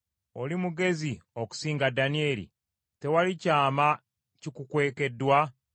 Oli mugezi okusinga Danyeri? Tewali kyama kikukwekeddwa?